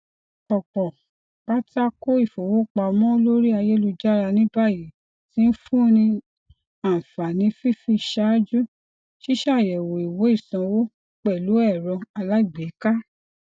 ọpọ pátákó ifowopamọ lórí ayélujára ní báyìí ti ń fún ní ànfààní fífi ṣáájú ṣíṣayẹwo ìwé ìsanwó pẹlú ẹrọ alágbèéká